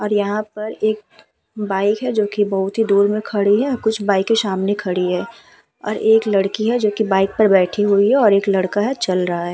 और यहाँ पर एक बाइक है जोकि बोहोत ही दूर में खड़ी और कुछ बाइकें सामने खड़ी हैं और एक लड़की है जोकि बाइक पर बैठी हुई है और एक लड़का है चल रहा है।